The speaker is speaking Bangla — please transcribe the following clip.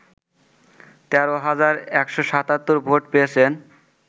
১৩ হাজার ১৭৭ ভোট পেয়েছেন